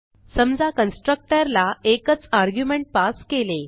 समजा कन्स्ट्रक्टर ला एकच आर्ग्युमेंट पास केले